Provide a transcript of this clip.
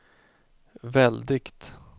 väldigt